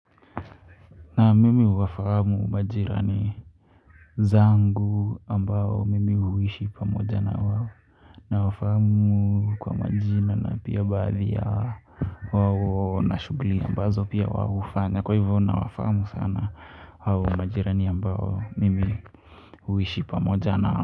Naam mimi huwafahamu majirani zangu ambao mimi huishi pamoja na wao nawafahamu kwa majina na pia baadhi yao wao na shughuli ambazo pia wao hufanya kwa hivyo na wafahamu sana hao majirani ambao mimi huishi pamoja nao.